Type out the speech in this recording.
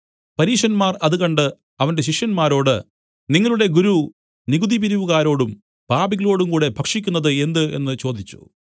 പരീശന്മാർ അത് കണ്ട് അവന്റെ ശിഷ്യന്മാരോട് നിങ്ങളുടെ ഗുരു നികുതി പിരിവുകാരോടും പാപികളോടും കൂടെ ഭക്ഷിക്കുന്നത് എന്ത് എന്നു ചോദിച്ചു